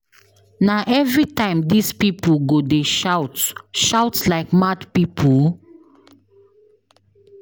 Na everytime dis people go dey shout shout like mad people?